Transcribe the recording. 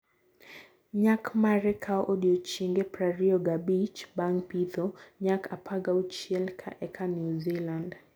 Nyak mare kao odiochienge prariyo ga bich bang pitho- Nyak: apagauchil ka eka New Zealand